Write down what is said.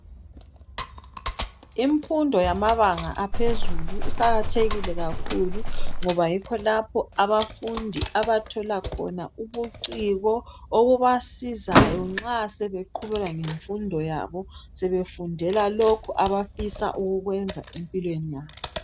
Imfundo yamabanga aphezulu iqakathekile kakhulu ngoba yikho lapho abafundi abathola khona ubuciko, okubasizayo nxa sebeqhubeka ngemfundo yabo sebefundela lokho abafisa ukukwenza empilweni yabo.